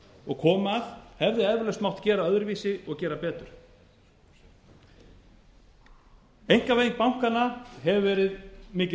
og komum að hefði eflaust mátt gera öðruvísi og gera betur einkavæðing bankanna hefur verið mikið